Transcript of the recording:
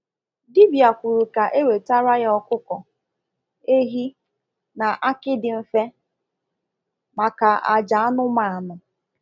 Dibia kwuru ka e wetara ya okuko, ehi, na akị dị mfe maka àjà anụmanụ.